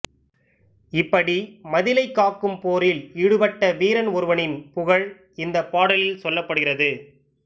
இப்படி மதிலைக் காக்கும் போரில் ஈடுபட்ட வீரன் ஒருவனின் புகழ் இந்தப் பாடலில் சொல்லப்படுகிறது